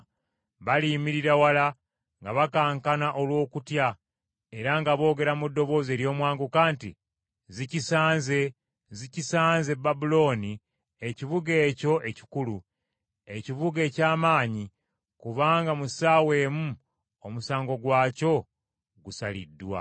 Baliyimirira wala nga bakankana olw’okutya era nga boogera mu ddoboozi ery’omwanguka nti, “ ‘Zikisanze, Zikisanze Babulooni ekibuga ekyo ekikulu! Ekibuga eky’amaanyi, Kubanga mu ssaawa emu omusango gwakyo gusaliddwa.’